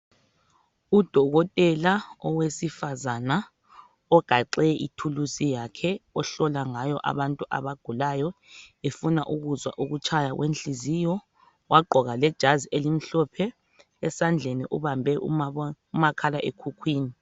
Udokotela owesifazana ogaxe ithuluzi yakhe ohlola ngayo abantu abagulayo efuna ukuzwa ukutshaya kwenhliziyo wagqoka lejazi elimhlophe esandleni ubambe umakhalekhukhwini.